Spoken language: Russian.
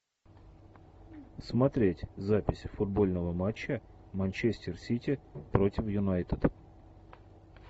смотреть запись футбольного матча манчестер сити против юнайтед